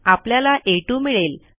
आपल्याला आ2 मिळेल